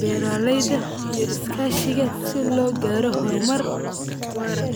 beraleyda iyo iskashiga sida logaro hormar waraa.